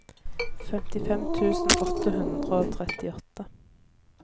femtifem tusen åtte hundre og trettiåtte